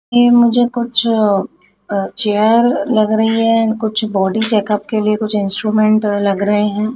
ये मुझे कुछ अ चेयर लग रही है कुछ बॉडी चैकअप के लिए कुछ इंस्ट्रूमेंट लग रहे हैं।